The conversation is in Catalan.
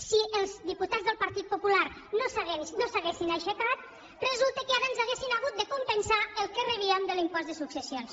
si els diputats del partit popular no s’haguessin aixecat resulta que ara ens haurien hagut de compensar el que rebíem de l’impost de successions